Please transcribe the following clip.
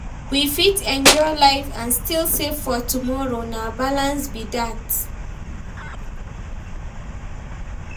We fit enjoy life and still save for tomorrow, na balance be that.